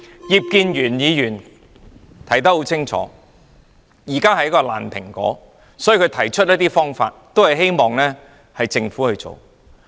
葉建源議員說得很清楚，現在的情況是一個爛蘋果，所以他提出一些方法希望政府去做。